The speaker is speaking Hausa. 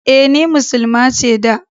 E, ni Muslima ce da.